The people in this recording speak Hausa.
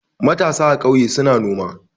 Matasa a ƙauye suna noma.